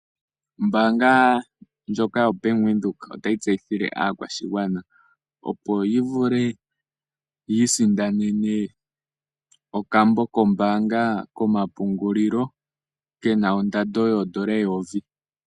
Ombaanga ya Bank Windhoek otayi tseyithile aakwashigwana opo yavule yiisindanene okambo kombaanga komapungulilo kena ondando yoondola eyovi.